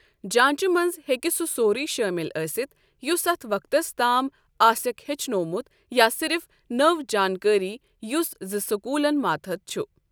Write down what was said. جانٛچہِ منٛز ہٮ۪کہِ سُہ سورُی شٲمِل ٲسِتھ یُس اَتھ وقتَس تام آسیٚکھ ہیٛچھنومُت یا صرف نٔوۍ جانٛکٲری، یُس زِ سکوٗلَن ماتحت چھُ۔